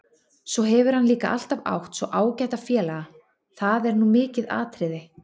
Svo hefur hann líka alltaf átt svo ágæta félaga, það er nú mikið atriði.